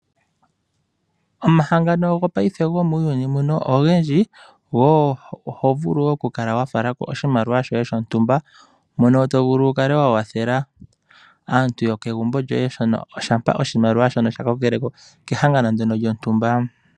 Omahangano gopaife gomuuyuni mbuno ogendji. Oho vulu wo okufala ko oshimaliwa shoye shontumba mono to vulu oku kala wa kwathela aantu yokegumbo lyoye shampa oshimaliwa shono sha kokele ko kehangano ndyono lyontumba.